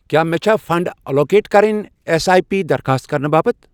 کیٛاہ مےٚ چھےٚ فنڑ ایلوکیٹ کرٕنۍ ایس آٮٔی پی درخاست کرنہٕ باپتھ؟